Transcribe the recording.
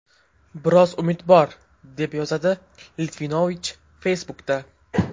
Biroz umid bor”, deb yozdi Litvinovich Facebook’da.